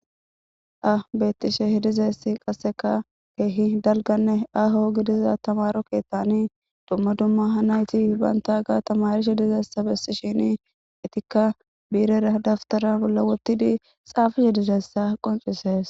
Ha beeththishe dizayssi qasseka keehi dalgganne aho gidiza thamaro keeththanii dumma dumma ha naythi banththagaa thamaarishe dizayssa bessishini ethikka biirera dafthara bolla woththidi xaafize dizayssa qonccissees.